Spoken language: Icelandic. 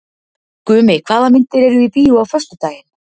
Gumi, hvaða myndir eru í bíó á föstudaginn?